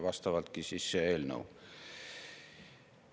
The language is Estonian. Vastavalt siis see eelnõu.